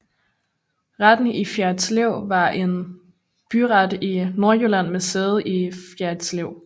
Retten i Fjerritslev var en byret i Nordjylland med sæde i Fjerritslev